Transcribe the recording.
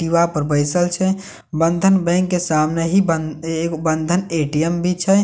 दिवा पर बइसल छे बंधन बैंक के सामने ही बंध-एगो- बंधन ए_टी_एम भी छै वे एटी --